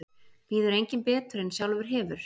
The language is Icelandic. Býður enginn betur en sjálfur hefur.